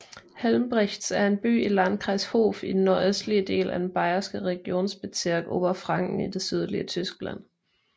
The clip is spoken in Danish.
Helmbrechts er en by i Landkreis Hof i den nordøstlige del af den bayerske regierungsbezirk Oberfranken i det sydlige Tyskland